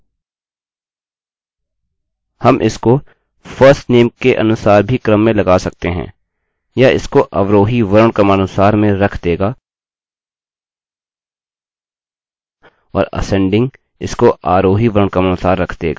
हम इसको firstname के अनुसार भी क्रम में लगा सकते हैं यह इसको अवरोही वर्णक्रमानुसार में रख देगा और असेंडिंगआरोही इसको आरोही वर्णक्रमानुसार रख देगा